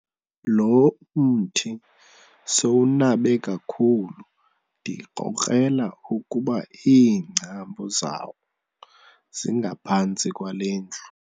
Lo mthi sowunabe kakhulu ndikrokrela ukuba iingcambu zawo zingaphantsi kwale ndlu.